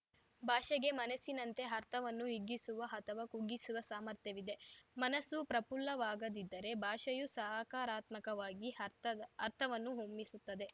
ಭಾಷೆಗೆ ಮನಸ್ಸಿನಂತೆ ಅರ್ಥವನ್ನು ಹಿಗ್ಗಿಸುವ ಅಥವಾ ಕುಗ್ಗಿಸುವ ಸಾಮರ್ಥ್ಯವಿದೆ ಮನಸ್ಸು ಪ್ರಪುಲ್ಲವಾಗದಿದ್ದರೆ ಭಾಷೆಯು ಸಹಕಾರಾತ್ಮಕವಾಗಿ ಅರ್ಥ ಅರ್ಥವನ್ನು ಹೊಮ್ಮಿಸುತ್ತದೆ